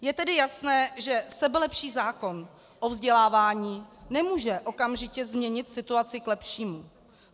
Je tedy jasné, že sebelepší zákon o vzdělávání nemůže okamžitě změnit situaci k lepšímu.